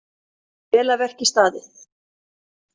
Vel af verki staðið.